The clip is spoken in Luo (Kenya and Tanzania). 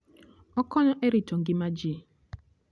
Okonyo e rito ngima ji.